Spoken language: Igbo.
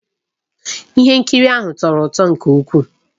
Ihe nkiri ahụ tọrọ ụtọ nke ukwuu